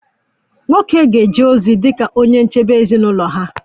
Nwoke ga-eje ozi dị ka onye nchebe nke ezinụlọ ha